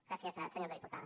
gràcies senyora diputada